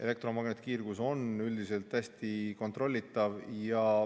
Elektromagnetkiirgus on üldiselt hästi kontrollitav.